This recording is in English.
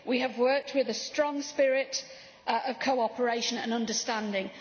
We have worked with a strong spirit of cooperation and understanding.